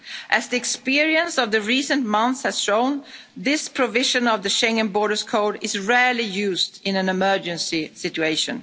Commission. As the experience of recent months has shown, this provision of the Schengen Borders Code is rarely used in an emergency